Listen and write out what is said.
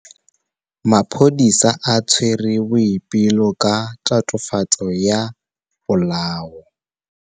Maphodisa a tshwere Boipelo ka tatofatsô ya polaô.